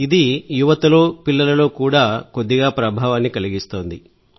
ఇది యువతలో పిల్లలలో కూడా కొద్దిగా ప్రభావాన్ని కలిగిస్తోంది